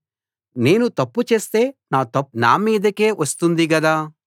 నేను తప్పు చేస్తే నా తప్పు నా మీదికే వస్తుంది గదా